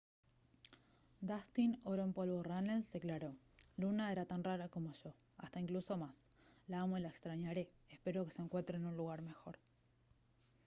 dustin oro en polvo runnels declaró: «luna era tan rara como yo; hasta incluso más. la amo y la extrañaré. espero que se encuentre en un lugar mejor»